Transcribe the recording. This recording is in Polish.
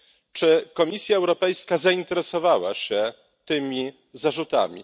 Czy Komisja Europejska zainteresowała się tymi zarzutami?